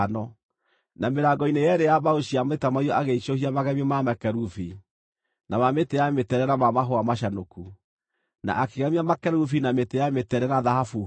Na mĩrango-ini yeerĩ ya mbaũ cia mĩtamaiyũ agĩicũhia magemio ma makerubi, na ma mĩtĩ ya mĩtende na ma mahũa macanũku, na akĩgemia makerubi na mĩtĩ ya mĩtende na thahabu hũũre.